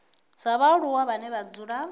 dza vhaaluwa vhane vha dzula